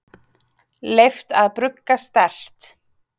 Leyft að brugga sterkt